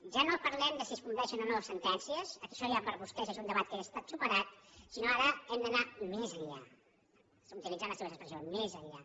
ja no parlem de si es compleixen o no sentències això ja per a vostès és un debat que ja ha estat superat sinó que ara hem d’anar més enllà utilitzant la seva expressió més enllà